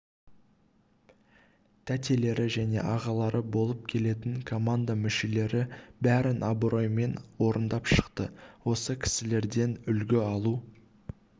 тәтелері және ағалары болып келетін команда мүшелері бәрін абыроймен орындап шықты осы кісілерден үлгі алу